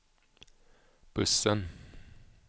bussen